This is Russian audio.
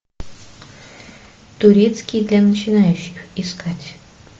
турецкий для начинающих искать